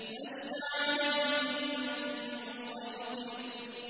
لَّسْتَ عَلَيْهِم بِمُصَيْطِرٍ